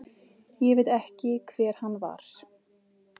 Ég veit ekki hver hann var.